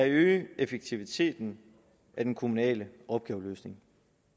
øger effektiviteten af den kommunale opgaveløsning